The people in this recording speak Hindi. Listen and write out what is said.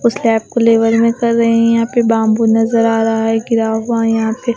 उस लैब को लेवल में कर रहे हैं यहाँ पे बांबू नजर आ रहा है गिरा हुआ यहाँ पे --